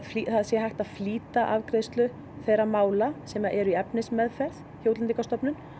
það sé hægt að flýta afgreiðslu þeirra mála sem eru í efnismeðferð hjá Útlendingastofnun